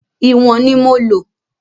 Ìwọ̀n ni mo lò.